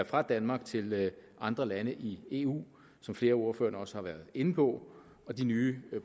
fra danmark til andre lande i eu som flere af ordførerne også har været inde på de nye